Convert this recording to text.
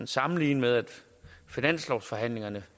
sammenligne med at finanslovsforhandlingerne